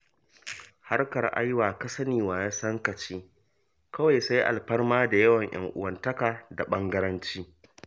Harkar ai "wa-ka-sani-wa-ya-san-ka ce" kawai, sai alfarma da ƴan'uwantaka da ɓangaranci.